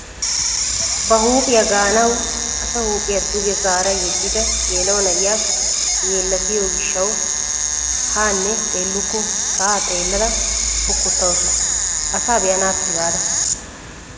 Ba huupgpgiyaa ganawu asa huuphphiyaa duge zaara yeedida geela'o na'iyaa yeellattiyoo gishshawu haanne xeelluku sa'aa xeellada pokkotawus asaa be'anaappe gaada!